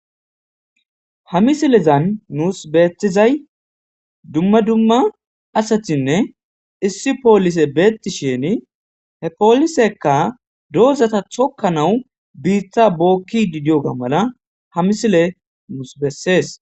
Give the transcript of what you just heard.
ha misilezan nuus beettizay dumma dumma asatinne issi poolise beetti sheni he poolisekka doozata chokka nawu biitha bookki didioga mala ha misile muus bessees